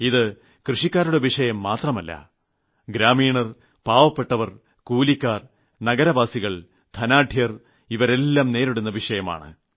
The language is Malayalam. ഇത് കൃഷിക്കാരുടെ വിഷയം മാത്രമല്ല ഗ്രാമീണർ പാവപ്പെട്ടവർ കൂലിക്കാർ കൃഷിക്കാർ നഗരവാസികൾ ധനാഢ്യർ ഇവരെല്ലാം നേരിടുന്ന വിഷയമാണ്